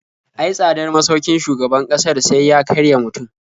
Ai tsadar masaukin shugaban ƙasar sai ya karya mutum.